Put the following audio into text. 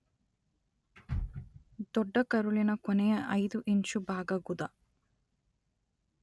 ದೊಡ್ಡ ಕರುಳಿನ ಕೊನೆಯ ಐದು ಇಂಚು ಭಾಗ ಗುದ.